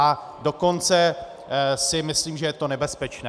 A dokonce si myslím, že je to nebezpečné.